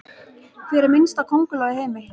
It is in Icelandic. Hver minnsta könguló í heimi?